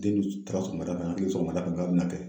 taara sɔgɔmada fɛ k'a bɛna kɛ